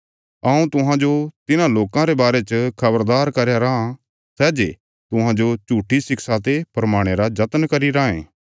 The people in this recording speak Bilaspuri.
हऊँ तुहांजो तिन्हां लोकां रे बारे च खबरदार करया राँ सै जे तुहांजो झुट्ठिया शिक्षा ते भरमाणे रा जतन करी राँये